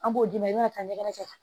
An b'o d'i ma i bɛna taa ɲɛgɛnɛ kɛ